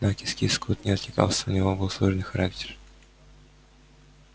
на кис-кис кот не откликался у него был сложный характер